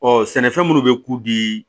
Ɔ sɛnɛfɛn minnu bɛ k'u di